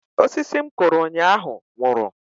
Osisi m kụrụ ụnyaahụ nwụrụ